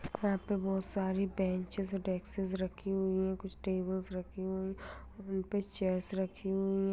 यहाँ पे बहुत सारी बेंचेज और डेस्कस रखी हुई हैं कुछ टेबल्स रखी हुई उनपे चेयर्स रखी हुई हैं।